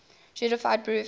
justified true belief